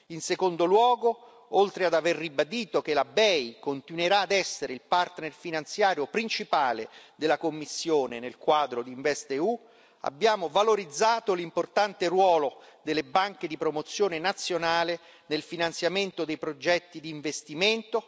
In secondo luogo, oltre ad aver ribadito che la BEI continuerà ad essere il partner finanziario principale della Commissione nel quadro di InvestEU, abbiamo valorizzato l'importante ruolo delle banche di promozione nazionale nel finanziamento dei progetti di investimento.